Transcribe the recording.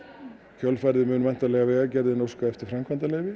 kjölfarið mun Vegagerðin óska eftir framkvæmdaleyfi